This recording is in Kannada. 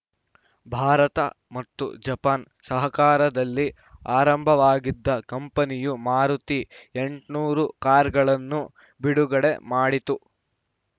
ಭಾರತ ಮತ್ತು ಜಪಾನ್‌ ಸಹಕಾರದಲ್ಲಿ ಆರಂಭವಾಗಿದ್ದ ಕಂಪನಿಯು ಮಾರುತಿ ಎಂಟನೂರು ಕಾರುಗಳನ್ನು ಬಿಡುಗಡೆ ಮಾಡಿತ್ತು